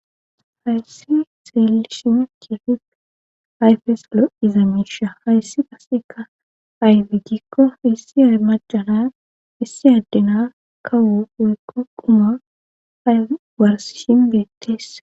hayssi xeelishimekefip ayfes lo7iza miisha hayssi qaseka ayfigikko issi armacana issi addena kawu woykko quma aywarsishin beetteessa.